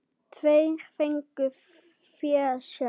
Tveir fengu fésekt.